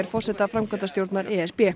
forseta framkvæmdastjórnar e s b